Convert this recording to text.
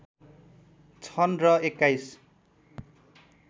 छन् र २१